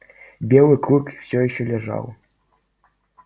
белый клык все ещё лежал